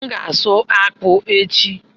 M ga-asụ akpụ echi.